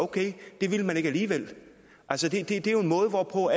at det ville man ikke alligevel altså det er jo en måde hvorpå